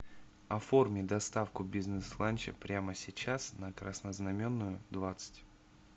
оформи доставку бизнес ланча прямо сейчас на краснознаменную двадцать